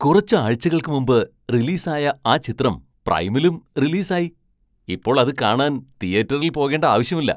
കുറച്ച് ആഴ്ചകൾക്ക് മുമ്പ് റിലീസ് ആയ ആ ചിത്രം പ്രൈമിലും റിലീസ് ആയി ! ഇപ്പോൾ അത് കാണാൻ തീയേറ്ററിൽ പോകേണ്ട ആവശ്യമില്ല !